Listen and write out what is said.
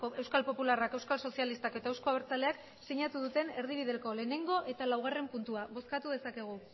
euskal popularrak euskal sozialistak eta euzko abertzaleak sinatu duten erdibideko batgarrena eta laugarrena puntua bozkatu dezakegu